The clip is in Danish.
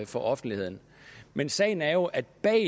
for offentligheden men sagen er jo at bag